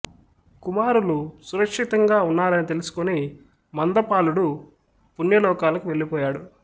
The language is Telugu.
కుమారులు సురక్షితంగా ఉన్నారని తెలుసుకుని మంద పాలుడు పుణ్యలోకాలకు వెళ్ళిపోయాడు